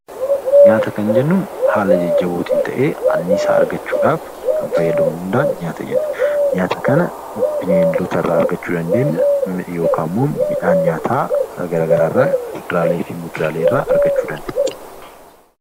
Nyaata kan jennuun haala jajjabootiin ta'ee anniisaa argachuuf kan fayyadudha. Nyaata kana bineeldota irraa argachuu dandeenya yookiin immoo midhaan nyaataa garaagaraa kuduraalee fi muduraalee irraa argachuu dandeenya.